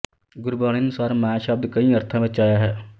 ਗੁਰਬਾਣੀ ਅਨੁਸਾਰ ਮਾਇਆ ਸ਼ਬਦ ਕਈ ਅਰਥਾਂ ਵਿੱਚ ਆਇਆ ਹੈ